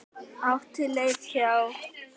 Átti leið hjá.